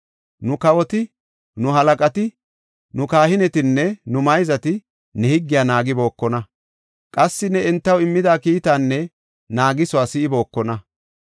Nu kawoti, nu halaqati, nu kahinetinne nu mayzati ne higgiya naagibookona. Qassi ne entaw immida kiitaanne naagisuwa si7ibookona.